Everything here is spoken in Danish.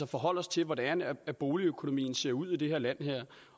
forholde os til hvordan boligøkonomien ser ud i det her land